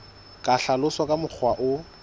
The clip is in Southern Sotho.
ka hlaloswa ka mokgwa o